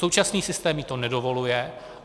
Současný systém jí to nedovoluje.